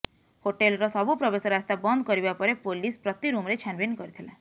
ହୋଟେଲର ସବୁ ପ୍ରବେଶ ରାସ୍ତା ବନ୍ଦ କରିବା ପରେ ପୋଲିସ ପ୍ରତି ରୁମରେ ଛାନଭିନ କରିଥିଲା